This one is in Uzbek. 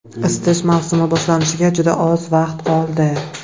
Isitish mavsumi boshlanishiga juda oz vaqt qoldi.